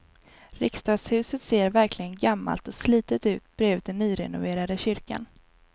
Riksdagshuset ser verkligen gammalt och slitet ut bredvid den nyrenoverade kyrkan.